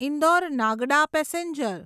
Indore Nagda passenger